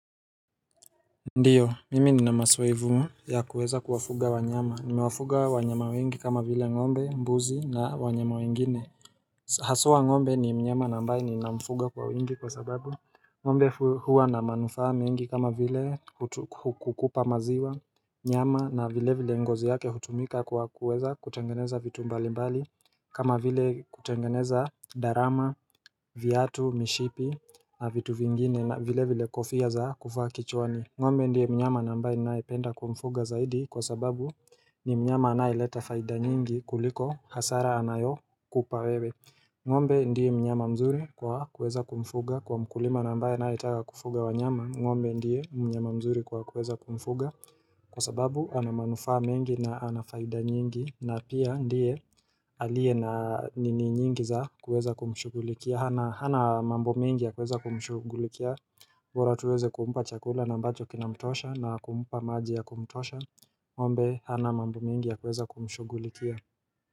Ndiyo mimi nina masoevu ya kuweza kuwafuga wanyama nimewafuga wanyama wengi kama vile ngombe mbuzi na wanyama wengine Hasua ngombe ni mnyama nambaye ni namfuga kwa wengi kwa sababu ngombe huwa na manufa mingi kama vile kukupa maziwa nyama na vile vile ngozi yake hutumika kwa kuweza kutengeneza vitu mbali mbali kama vile kutengeneza darama vyatu mishipi na vitu vingine na vile vile kofia za kufa kichwani ngombe ndiye mnyama nambaye nae penda kumfuga zaidi kwa sababu ni mnyama anae leta faida nyingi kuliko hasara anayo kupawewe ngombe ndiye mnyama mzuri kwa kweza kumfuga kwa mkulima nambaye anae itaga kufuga wanyama ngombe ndiye mnyama mzuri kwa kweza kumfuga kwa sababu anamanufa mengi na anafaida nyingi na pia ndiye alie na nini nyingi za kuweza kumshugulikia Hana mambo mengi ya kuweza kumshugulikia mbora tuweze kumupa chakula na ambacho kinamtosha na kumupa maji ya kumtosha Ng'mbe, Hana mambo mingi ya kuweza kumshugulikia.